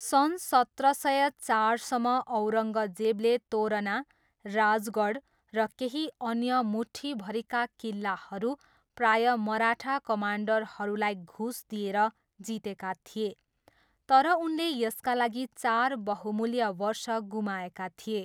सन् सत्र सय चारसम्म, औरङ्गजेबले तोरना, राजगढ र केही अन्य मुट्ठीभरिका किल्लाहरू प्रायः मराठा कमान्डरहरूलाई घुस दिएर जितेका थिए, तर उनले यसका लागि चार बहुमूल्य वर्ष गुमाएका थिए।